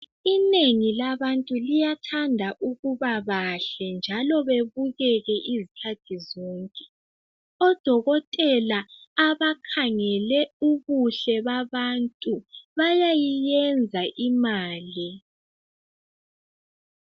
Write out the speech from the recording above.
Inengi labantu liyathatha ukubabahle njalo bebuke izikhathi zonke. ODokotela abakhangele ubuhle babantu bayayiyenza imali.